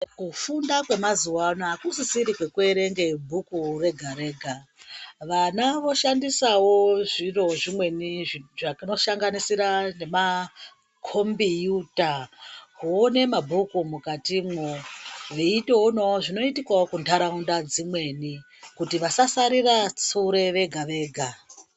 Kufunda kwemazuva ano hakusisiri kwekuerenge bhuku rega-rega. Vana voshandisavo zviro zvimweni zvinosanganisira nemakombiyuta kuone mabhuku mukatimwo. Veitoonavo zvinoitikavo kuntaraunda dzimweni kuti vasasarira sure vega-vega.